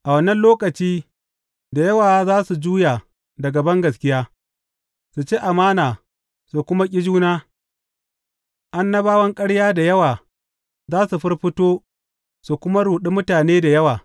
A wannan lokaci, da yawa za su juya daga bangaskiya, su ci amana su kuma ƙi juna, annabawan ƙarya da yawa za su firfito su kuma ruɗi mutane da yawa.